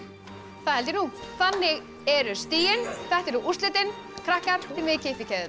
það held ég nú þannig eru stigin þetta eru úrslitin krakkar þið megið kippa í keðjurnar